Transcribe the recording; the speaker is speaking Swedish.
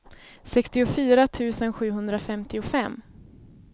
sextiofyra tusen sjuhundrafemtiofem